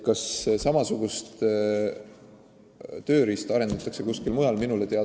Kas samasugust tööriista kasutatakse ka kuskil mujal?